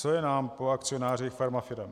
Co je nám po akcionářích farmafirem?